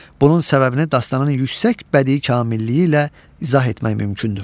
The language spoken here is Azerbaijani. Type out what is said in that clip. Bunun səbəbini dastanın yüksək bədii kamilliyi ilə izah etmək mümkündür.